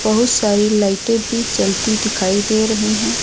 बहुत सारी लाइटें भी जलती दिखाई दे रही हैं।